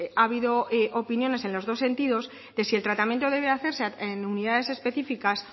ha habido opiniones en los dos sentidos de si el tratamiento debe hacerse en unidades específicas